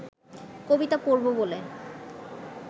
কবিতা পড়ব বলে